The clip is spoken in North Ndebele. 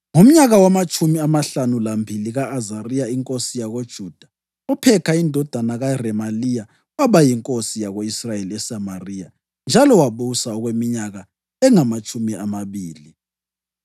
Ngomnyaka wamatshumi amahlanu lambili ka-Azariya inkosi yakoJuda, uPhekha indodana kaRemaliya waba yinkosi yako-Israyeli eSamariya, njalo wabusa okweminyaka engamatshumi amabili.